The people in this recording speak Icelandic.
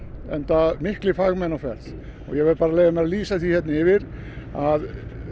enda miklir fagmenn á ferð ég verð bara að leyfa mér að lýsa því yfir að